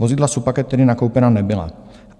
Vozidla Supacat tedy nakoupena nebyla.